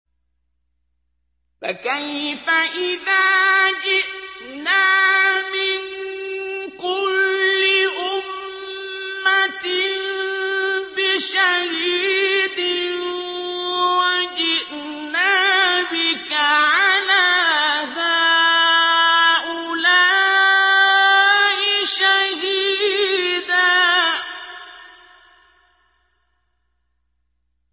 فَكَيْفَ إِذَا جِئْنَا مِن كُلِّ أُمَّةٍ بِشَهِيدٍ وَجِئْنَا بِكَ عَلَىٰ هَٰؤُلَاءِ شَهِيدًا